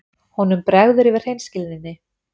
Honum bregður yfir hreinskilninni.